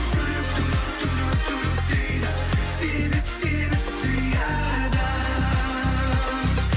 жүрек дейді себеп сені сүйеді